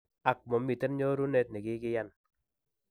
Ak, momiiten nyorunet ne kikiyan.